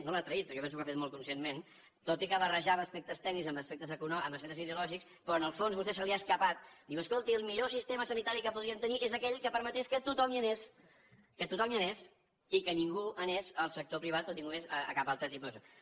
no l’ha traït perquè jo penso que ho ha fet molt conscientment tot i que barrejava aspectes tècnics amb aspectes ideològics però en el fons a vostè se li ha escapat diu escolti el millor sistema sanitari que podríem tenir és aquell que permetés que tothom hi anés i que ningú anés al sector privat o ningú anés a cap altre tipus daixò